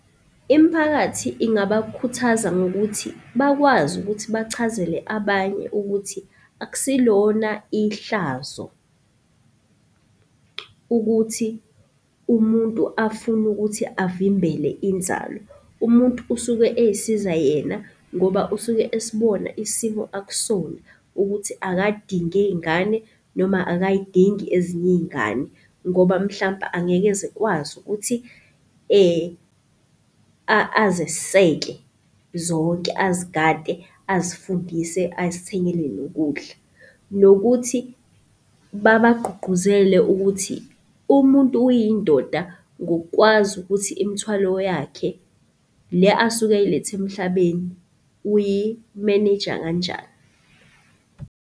Imiphakathi ingabakhuthaza ngokuthi bakwazi ukuthi bachazele abanye ukuthi akusilona ihlazo ukuthi umuntu afune ukuthi avimbele inzalo. Umuntu usuke ey'siza yena ngoba usuke esibona isimo akusona ukuthi akadinge ngane noma akay'dingi ezinye iy'ngane. Ngoba mhlampe angeke ezekwazi ukuthi azeseke zonke, azigade, azifundise azithengele nokudla. Nokuthi babagqugquzele ukuthi umuntu uyindoda ngokukwazi ukuthi imithwalo yakhe le asuke eyilethe emhlabeni uyi-manage-a kanjani.